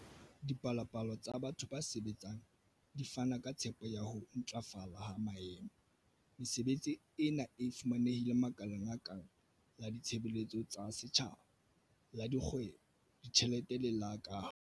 Dipalopalo tsa batho ba sebetsang di fana ka tshepo ya ho ntlafala ha maemo. Mesebetsi ena e fumanehile makaleng a kang la ditshebeletso tsa setjhaba, la dikgwebo, ditjhelete le la kaho.